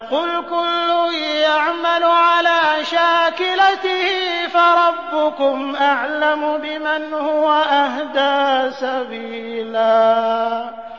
قُلْ كُلٌّ يَعْمَلُ عَلَىٰ شَاكِلَتِهِ فَرَبُّكُمْ أَعْلَمُ بِمَنْ هُوَ أَهْدَىٰ سَبِيلًا